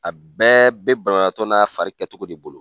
A bɛɛ be banabaatɔ n'a fari kɛ cogo de bolo.